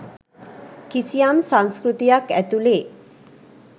කිසියම් සංස්කෘතියක් ඇතුලේ.